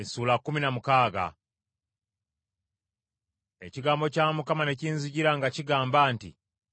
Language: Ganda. Ekigambo kya Mukama ne kinzijira nga kigamba nti,